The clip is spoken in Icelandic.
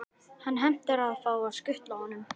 Hann heimtar að fá að skutla honum.